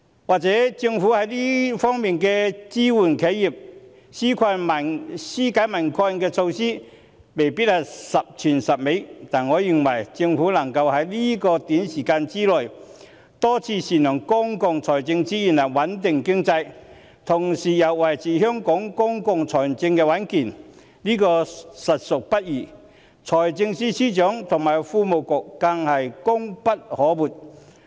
或許政府在支援企業及紓解民困措施方面未必十全十美，但我認為政府能夠在這短時間內多次善用公共財政資源來穩定經濟，同時又維持香港公共財政的穩健，實屬不易，財政司司長和財經事務及庫務局更功不可沒。